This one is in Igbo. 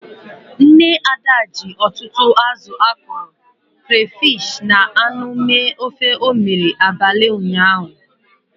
Nne Ada ji ọtụtụ azụ akọrọ, crayfish na anụ mee ofe o mere abalị ụnyaahụ.